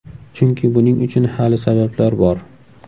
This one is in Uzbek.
Chunki buning uchun hali sabablar bor.